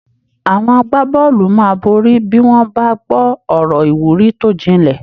Àwọn agbábọ́ọ̀lù máa borí bí wọ́n bá gbọ́ ọ̀rọ̀ ìwúrí tó jinlẹ̀